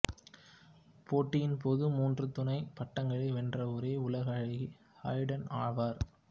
போட்டியின் போது மூன்று துணை பட்டங்களை வென்ற ஒரே உலக அழகி ஹேடன் ஆவார்